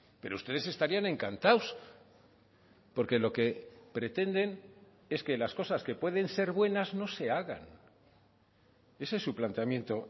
pero ustedes estarían encantados porque lo que pretenden es que las cosas que pueden ser buenas no se hagan ese es su planteamiento